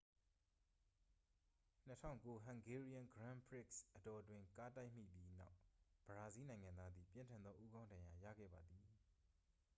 2009 hungarian grand prix အတောအတွင်း ကားတိုက်မိပြီးနောက် ဘရာဇီးနိုင်ငံသားသည် ပြင်းထန်သောဦးခေါင်းဒဏ်ရာရခဲ့ပါသည်